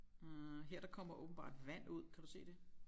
Øh her der kommer åbenbart vand ud kan du se det